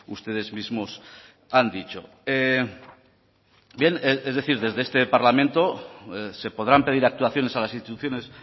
ustedes mismos han dicho bien es decir desde este parlamento se podrán pedir actuaciones a las instituciones